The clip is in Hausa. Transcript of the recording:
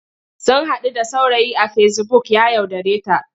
Sun haɗu da saurayi a fesibuk ya yaudareta.